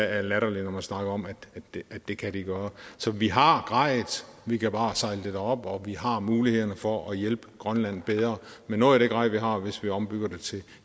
er latterligt når man snakker om at det kan de gøre så vi har grejet vi kan bare sejle det derop og vi har mulighederne for at hjælpe grønland bedre med noget af det grej vi har hvis vi ombygger det til